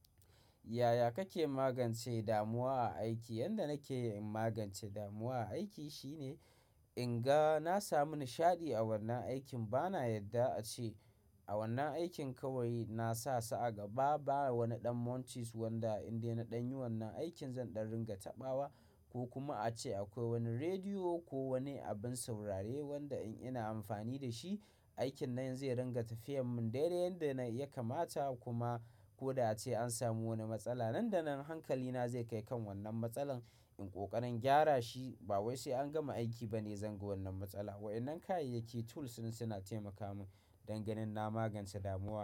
Yaya kake magance damuwa a aiki? Yanda nake magance damuwa a aiki shine, in ga na samu nishaɗi a wannan aikin, ba na yadda ace, a wannan aikin kawai na sa sa a gaba, ba wani ɗan munches wanda in dai na ɗanyi wannan aikin zan ɗan ringa taɓawa, ko kuma ace akwai wani rediyo ko wani abun saurare, wanda in ina amfani da shi, aikin nan zai ringa tafiyar mun dai-dai yanda ya kamata, kuma ko da ace an samu wani matsala Nan da nan hankali na zai kai kan wannan matsalar, in ƙoƙarin gyara shi. Ba wai sai an gama aiki bane zan ga wannan matsala. Wa'innan kayayyaki tools din, suna taimaka mun dan ganin na magance damuwa,